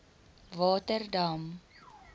waterdam